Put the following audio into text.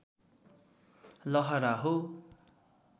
लहरा हो